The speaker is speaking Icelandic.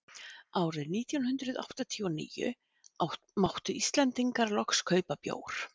árið nítján hundrað áttatíu og níu máttu íslendingar loks kaupa bjór